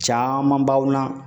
Caman b'aw na